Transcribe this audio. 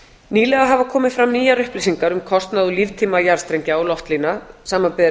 nýlega hafa komið fram nýjar upplýsingar um kostnað og líftíma jarðstrengja og loftlína samanber